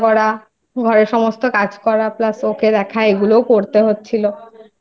থেকে আমাকেই রান্না করা ঘরের সমস্ত কাজ করা Plus